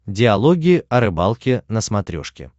диалоги о рыбалке на смотрешке